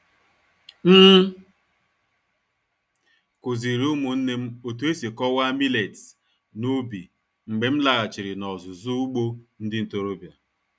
M kụziri ụmụnne m otu esi kọwaa millets n’ubi mgbe m laghachiri n'ọzụzụ ugbo ndị ntorobịa.